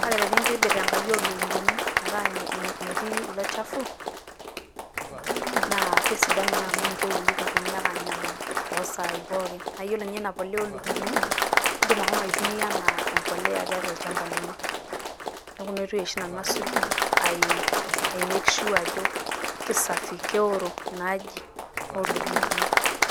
Kake tenindobir enkaji oo lukunguni metaa metii ilo olchafu naa kesidanu naa, amu mitoki ilukunguni ake aanyamalu too saai pooki. Naa iyiolo ninye ina polea oo lukunguni idim ashomo aitumia enaa empolea tiatua olchamba lino. Niaku ina oitoi oshi nanu asuj ai make sure ajo kisafi keoro ina aji oo lukunguni.